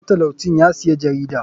Matalau cin yasiya jarida.